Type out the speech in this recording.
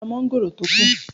Mo ra mọ́ngòrò tó kù